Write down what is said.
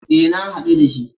E, na haɗu da shi.